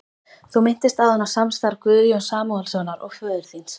Þú minntist áðan á samstarf Guðjóns Samúelssonar og föður þíns.